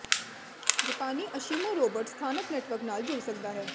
ਜਪਾਨੀ ASIMO robot ਸਥਾਨਕ network ਨਾਲ ਜੁੜ ਸਕਦਾ ਹੈ